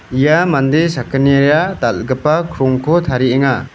ia mande sakgnira dal·gipa krongko tarienga.